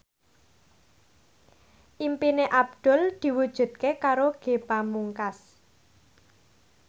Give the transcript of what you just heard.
impine Abdul diwujudke karo Ge Pamungkas